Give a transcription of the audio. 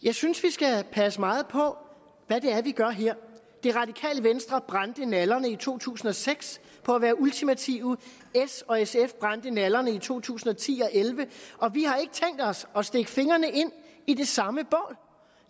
jeg synes vi skal passe meget på hvad det er vi gør her det radikale venstre brændte nallerne i to tusind og seks på at være ultimative s og sf brændte nallerne i to tusind og ti og elleve og vi har ikke tænkt os at stikke fingrene ind i det samme bål